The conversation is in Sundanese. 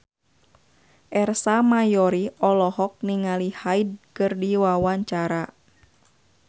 Ersa Mayori olohok ningali Hyde keur diwawancara